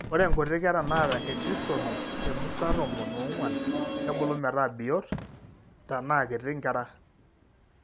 Ore inkuti kera naata etrisomy emusa tomon oong'uan kebulu metaa biot, tanaa kiti, inkera.